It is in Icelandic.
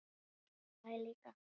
Og ég hlæ líka.